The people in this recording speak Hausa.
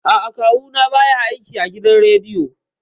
A'a, Kawu na ba ya aiki a gidan rediyo